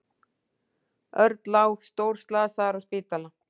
Örn lá stórslasaður á spítala.